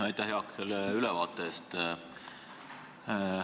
Aitäh, Jaak, selle ülevaate eest!